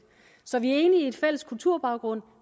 så vi er i en fælles kulturbaggrund